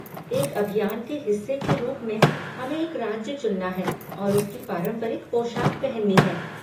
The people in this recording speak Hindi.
एक अभियान के हिस्से के रूप में, हमें एक राज्य चुनना है और उसकी पारंपरिक पोशाक पहननी है।